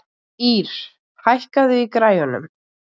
Ýrr, hækkaðu í græjunum.